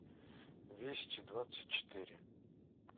вести двадцать четыре